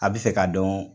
A bɛ fɛ ka dɔn